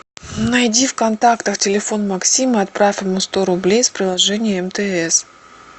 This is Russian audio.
найди в контактах телефон максима и отправь ему сто рублей с приложения мтс